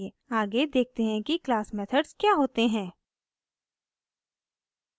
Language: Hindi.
आगे देखते हैं कि क्लास मेथड्स क्या होते हैं